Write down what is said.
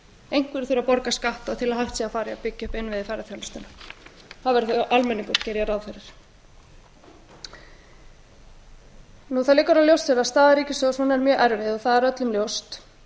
þurfa að borga skatta til að hægt sé að fara í að byggja upp innviði ferðaþjónustunnar það verður þá almenningur geri ég ráð fyrir það liggur alveg ljóst fyrir að staða ríkissjóðs er mjög erfið og það er öllum ljóst